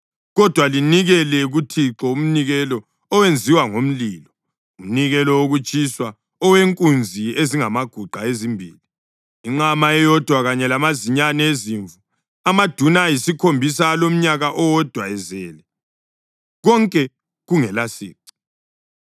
Kodwa linikele kuThixo umnikelo owenziwe ngomlilo, umnikelo wokutshiswa owenkunzi ezingamaguqa ezimbili, inqama eyodwa kanye lamazinyane ezimvu amaduna ayisikhombisa alomnyaka owodwa ezelwe, konke kungelasici.